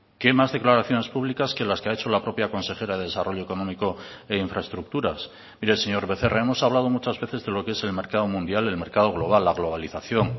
qué más declaraciones públicas que las que ha hecho la propia consejera de desarrollo económico e infraestructuras mire señor becerra hemos hablado muchas veces de lo que es el mercado mundial el mercado global la globalización